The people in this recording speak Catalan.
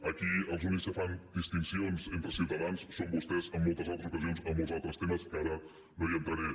aquí els únics que fan distincions entre ciutadans són vostès en moltes altres ocasions en molts altres temes que ara no hi entraré